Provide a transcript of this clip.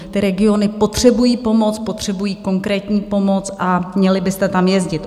Ty regiony potřebují pomoc, potřebují konkrétní pomoc, a měli byste tam jezdit.